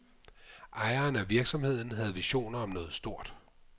Ejeren af virksomheden havde visioner om noget stort.